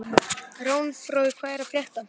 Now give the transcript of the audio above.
Runólfur, hvað er að frétta?